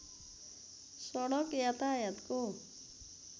सडक यातायातको